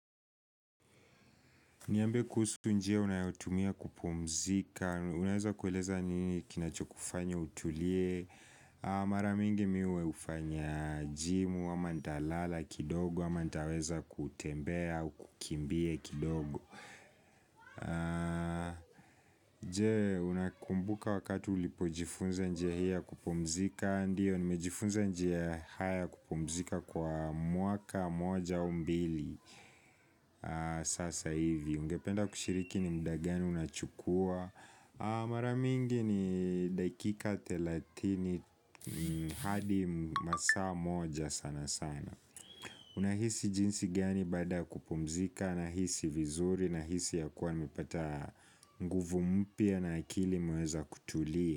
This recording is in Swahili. Niambie kuhusu tu njia unayotumia kupumzika, unaweza kueleza ni nini kinacho kufanya utulie Mara mingi mie hufanya jimu, ama nitalala kidogo, ama nitaweza kutembea, kukimbia kidogo Je, unakumbuka wakati ulipojifunza njia hii kupumzika, ndio, nimejifunza njia haya kupumzika kwa mwaka, moja au mbili Sasa hivi, ungependa kushiriki ni muda gani unachukua Mara mingi ni dakika thelathini hadi masaa moja sana sana Unahisi jinsi gani baada kupumzika nahisi vizuri nahisi ya kuwa nimepata nguvu mpya na akili imeweza kutulia.